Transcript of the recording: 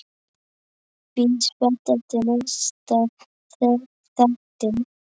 Bíð spennt eftir næsta þætti.